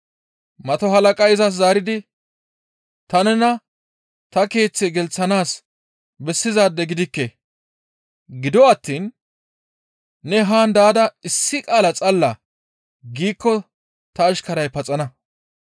Mato halaqazi izas zaaridi, «Ta nena ta keeththe gelththanaas bessizaade gidikke; gido attiin ne haan daada issi qaala xalla giikko ta ashkaray paxana.